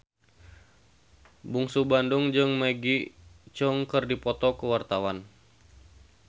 Bungsu Bandung jeung Maggie Cheung keur dipoto ku wartawan